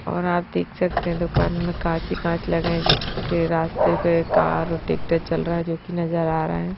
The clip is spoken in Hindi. और आप देख सकते है दुकान में कांच ही कांच लगे है जिसके रास्ते पे कार और ट्रैक्टर चल रहा है जो कि नजर आ रहा है।